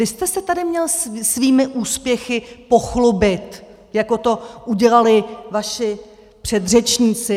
Vy jste se tady měl svými úspěchy pochlubit, jako to udělali vaši předřečníci.